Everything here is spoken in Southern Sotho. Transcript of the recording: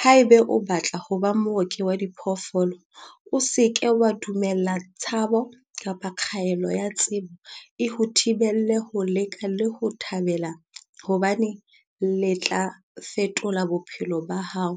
"Haeba o batla ho ba mooki wa diphoofolo, o se ke wa dumella tshabo kapa kgaello ya tsebo ho o thibela ho le leka le ho le thabela hobane le tla fetola bophelo ba hao